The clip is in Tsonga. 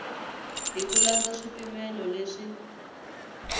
hi ku landza swipimelo leswi